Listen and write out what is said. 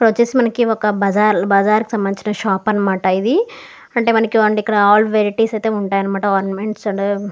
ఇక్కడ వచ్చేసి మనకి ఒక బజార్ బజార్ కి సంబందించిన షాప్ అనమాట ఇది అంటే మనకి ఇక్కడ అల్ వెరైటీస్ ఉంటాయి అనమాట ఆర్నమెంట్స్ --